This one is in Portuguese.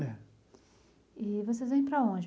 É. E vocês vêm para onde?